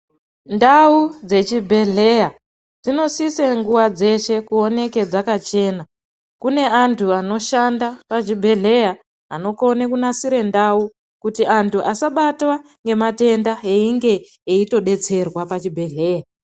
Ndau dzechibhedhleya dzinosisa nguwa dzese kuoneka dzakachena kune antu anoshanda pachibhedhleya anokona kunasira ndau kuti antu asabatwe ngematenda eyinge eyitodetserwa pachibhedhleya.